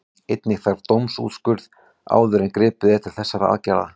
Einnig þarf dómsúrskurð áður en gripið er til þessara aðgerða.